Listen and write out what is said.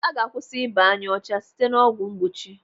Aga akwụsị ịba ọcha n'anya site n'ọgwụ mgbochi.